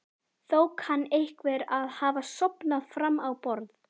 Þó kann einhver að hafa sofnað fram á borðið.